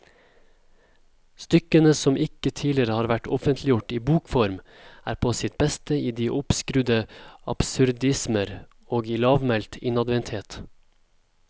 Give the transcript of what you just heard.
Stykkene, som ikke tidligere har vært offentliggjort i bokform, er på sitt beste i de oppskrudde absurdismer og i lavmælt innadvendthet.